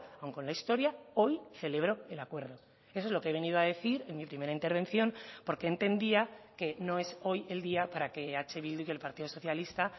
aun con la historia hoy celebro el acuerdo eso es lo que he venido a decir en mi primera intervención porque entendía que no es hoy el día para que eh bildu y el partido socialista